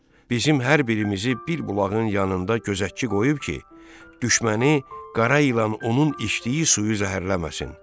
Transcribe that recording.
Bizim hər birimizi bir bulağın yanında gözətçi qoyub ki, düşməni, qara ilan onun içdiyi suyu zəhərləməsin.